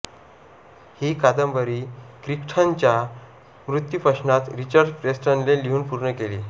ही कादंबरी क्रिख्टनच्या मृत्यूपश्चात रिचर्ड प्रेस्टनने लिहून पूर्ण केली